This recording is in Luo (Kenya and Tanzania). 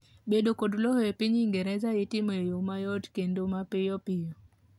bedo kod lowo e piny ingereza itimo e yoo mayot kendo mapiyopiyo